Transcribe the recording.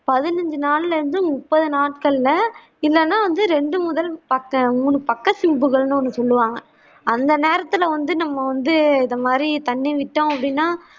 பதினைந்து நாள்ள இருந்து முப்பது நாட்கள்ள இல்லன்னா வந்து ரெண்டு முதல் பக்க மூணு பக்க சிம்புகள் ஒன்னு சொல்லுவாங்க அந்த நேரத்தில் வந்து நம்ம வந்து இந்த மாதிரி தண்ணி விட்டோம் அப்படின்னா